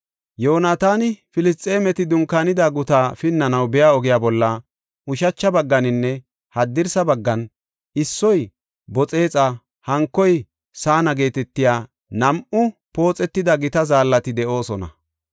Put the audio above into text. Yoonataani Filisxeemeti dunkaanida gutaa pinnanaw biya ogiya bolla ushacha bagganinne haddirsa baggan, issoy Boxexa, hankoy Sana geetetiya nam7u pooxetida gita zaallati de7oosona.